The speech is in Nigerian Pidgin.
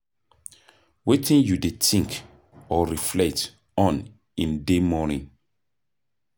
wetin you dey think or reflect on in dey morning?